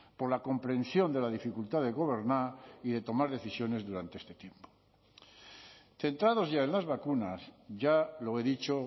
por la comprensión de la dificultad de gobernar y de tomar decisiones durante este tiempo centrados ya en las vacunas ya lo he dicho